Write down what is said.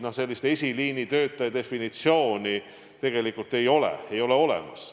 No tegelikult ei ole esiliinitöötaja definitsiooni olemas.